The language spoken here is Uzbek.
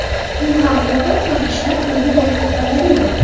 U ham o‘qib, ham ishlab kunini ko‘rib keta oladimi?